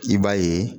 I b'a ye